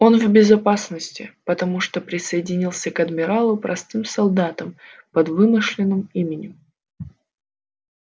он в безопасности потому что присоединился к адмиралу простым солдатом под вымышленным именем